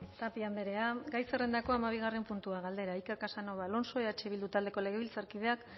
tapia andrea gai zerrendako hamabigarrena puntua galdera iker casanova alonso eh bildu taldeko legebiltzarkideak